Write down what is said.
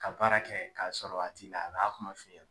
Ka baara kɛ k'a sɔrɔ a t'i la a b'a kuma f'i ye.